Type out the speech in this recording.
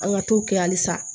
An ka t'o kɛ halisa